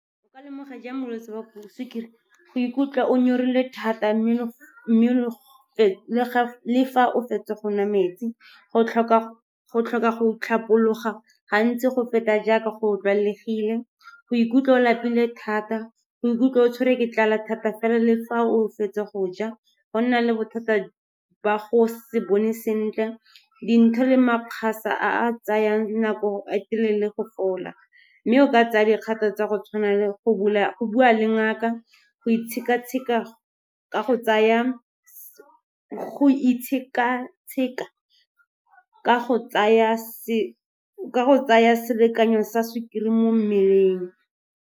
O ka lemoga jang bolwetse ba sukiri? Go ikutlwa o nyorilwe thata, mme le fa o fetsa go nwa metsi. Go tlhoka go tlhapologa gantsi go feta jaaka go tlwaelegile. Go ikutlwa o lapile thata, go ikutlwa o tshwere ke tlala thata fela le fa o fetsa go ja. Go nna le bothata ba go se bone sentle, dintho le makgase a tsayang nako a telele go fola. Mme o ka tsaya dikgato tsa go tshwana le go bua le ngaka, go itsheka-tsheka ka go tsaya selekanyo sa sukiri mo mmeleng.